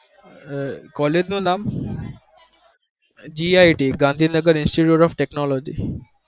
કોલજ નું ના GIT Gandhi Nagar institute technoloy